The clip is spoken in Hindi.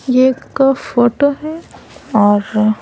ये एक फोटो है और --